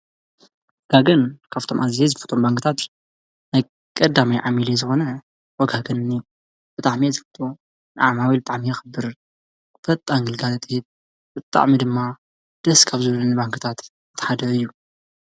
ወጋገን ካፍቶም ኣዝየ ዝፈትዎም ባንክታት ቀዳማይ ዓሚለይ ዝኾነ ወጋገን እዩ፡፡ ብጣዕሚ እየ ዝፈትዎ፡፡ ንዓማዊሉ የኽብር፣ ፈጣን ግልጋሎት ይህብ፡፡ ብጣዕሚ ድማ ደስ ካብ ዝብሉኒ ባንክታት እቲ ሓደ እዩ፡፡